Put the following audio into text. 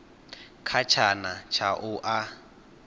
kha tshana tsha u a